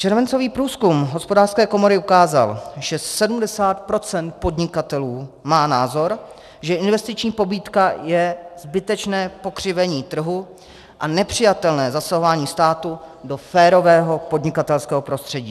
Červencový průzkum Hospodářské komory ukázal, že 70 % podnikatelů má názor, že investiční pobídka je zbytečné pokřivení trhu a nepřijatelné zasahování státu do férového podnikatelského prostředí.